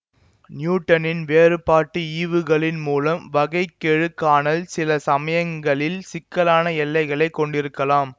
நியூட்டனின் வேறுபாட்டு ஈவுகளின் மூலம் வகை கெழு காணல் சில சமயங்களில் சிக்கலான எல்லைகளை கொண்டிருக்கலாம்